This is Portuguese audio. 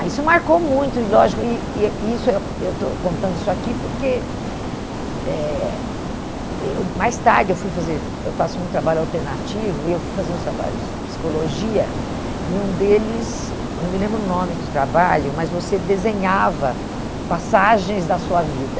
Isso marcou muito, e lógico, e e eh e isso eu eu estou contando isso aqui porque eh eu mais tarde eu fui fazer, eu faço muito trabalho alternativo, e eu fui fazer uns trabalhos de psicologia, e um deles, eu não me lembro o nome do trabalho, mas você desenhava passagens da sua vida.